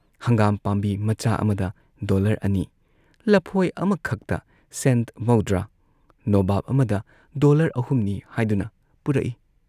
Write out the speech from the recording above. ꯍꯪꯒꯥꯝ ꯄꯥꯝꯕꯤ ꯃꯆꯥ ꯑꯃꯗ ꯗꯣꯂꯔ ꯑꯅꯤ, ꯂꯐꯣꯏ ꯑꯃꯈꯛꯇ ꯁꯦꯟꯠ ꯃꯧꯗ꯭ꯔꯥ, ꯅꯣꯕꯥꯕ ꯑꯃꯗ ꯗꯣꯂꯔ ꯑꯍꯨꯝꯅꯤ ꯍꯥꯏꯗꯨꯅ ꯄꯨꯔꯛꯏ